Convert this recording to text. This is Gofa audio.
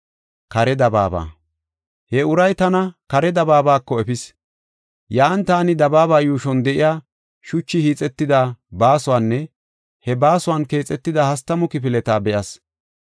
He uray tana kare dabaabako efis. Yan taani dabaaba yuushon de7iya shuchi hiixetida baasuwanne he baasuwa keexetida hastamu kifileta be7as.